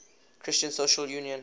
christian social union